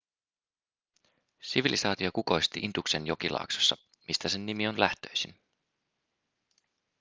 sivilisaatio kukoisti induksen jokilaaksossa mistä sen nimi on lähtöisin